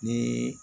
Ni